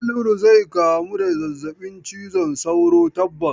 Haliru zai kamu da zazzabin cizon sauro tabbas.